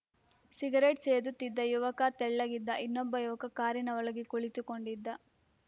cigarette ಸೇದುತ್ತಿದ್ದ ಯುವಕ ತೆಳ್ಳಗಿದ್ದ ಇನ್ನೊಬ್ಬ ಯುವಕ ಕಾರಿನ ಒಳಗೆ ಕುಳಿತುಕೊಂಡಿದ್ದ